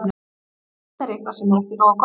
Þetta er eitthvað sem er ekki nógu gott.